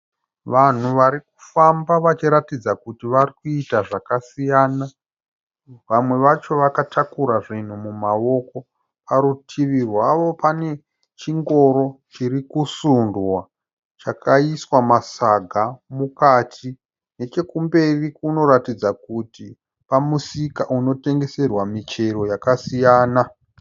Vanhu varikufamba vachiratidza kuti varikuita zvakasiyana. Vamwe wacho vakatakura zvinhu mumaoko .Parutivi rwavo pane chingoro chirikusundwa chakaiswa masaga mukati. Nechekumberi kunoratidza kuti pamusika unotengeserwa michero yakasiyana.